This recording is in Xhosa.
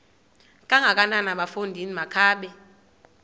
kangakanana bafondini makabe